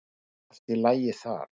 Allt í lagi þar.